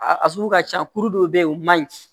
A sugu ka ca kuru dɔw bɛ yen o man ɲi